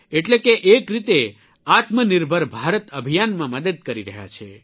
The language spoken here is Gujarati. એટલે કે એક રીતે આત્મનિર્ભર ભારત અભિયાનમાં મદદ કરી રહ્યા છે